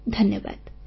phone call ସମାପ୍ତ